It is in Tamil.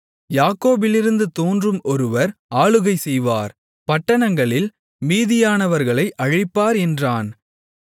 யாக்கோபிலிருந்து தோன்றும் ஒருவர் ஆளுகை செய்வார் பட்டணங்களில் மீதியானவர்களை அழிப்பார் என்றான்